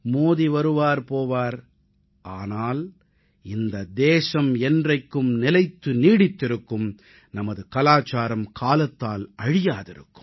மோடி வருவார் போவார் ஆனால் இந்த தேசம் என்றைக்கும் நிலைத்து நீடித்திருக்கும் நமது கலாச்சாரம் காலத்தால் அழியாதிருக்கும்